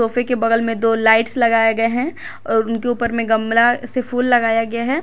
किसी के बगल में दो लाइट्स लगाए गए हैं और उनके ऊपर में गमला से फूल लगाया गया है।